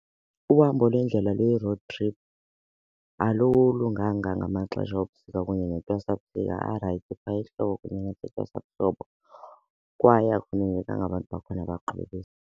Uhambo lwendlela oluyi-road trip alulunganga ngamaxesha obusika kunye arayithi phaya ehlobo kunye nasentwasahlobo kwaye akuvumelekanga abantu bakhona .